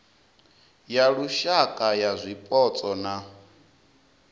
ya lushaka ya zwipotso na